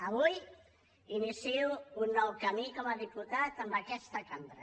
avui inicio un nou camí com a diputat en aquesta cambra